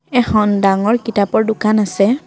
এখন ডাঙৰ কিতাপৰ দোকান আছে।